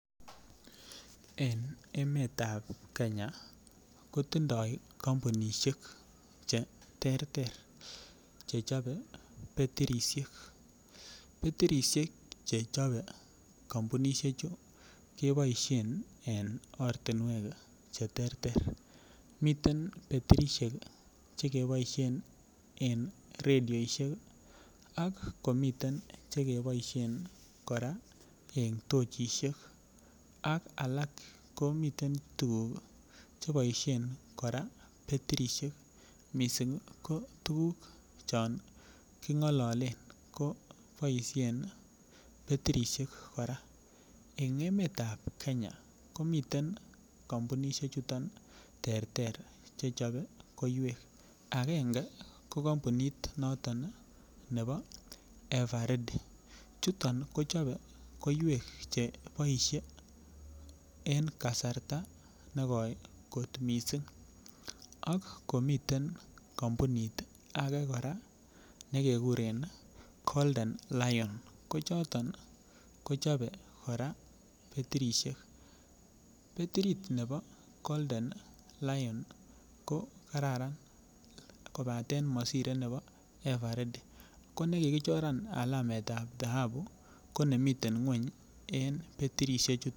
En emetab Kenya kotindo kompunishek cheterter chechobe betirishek, betirishek che chobe kompunishek chuu keboishen en ortinwek cheteren. Miten batirishek chekeboishen en radioishek kii ak komiten chekeboishen Koraa en tochishek ak alak komiten tukuk cheboishen Koraa batirishek missing ko tukuk chon kingololen koboishen batirishek Koraa. En emetab Kenya komiten kompunishek chuton terter che chobe koiwek agenge ko kompunit noton Nii nebo Ever ready chuton kochobe koiwek che boishet en kasarta negoi kot missing ak komiten kompunit ake Koraa nekekuren Golden Lion ko choton nii kochob Koraa batirishek, batirit nebo Golden Lion niiko kararan kopaten mosire nebo ever ready ko nekikichoran alametab dhahabu ko nemiten ngweny en batirishek chuu.